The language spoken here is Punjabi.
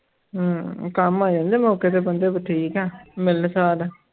ਹਮ ਕੰਮ ਆ ਜਾਂਦੇ ਮੌਕੇ ਤੇ ਬੰਦੇ ਠੀਕ ਹੈ ਮਿਲਣਸਾਰ ਹੈ।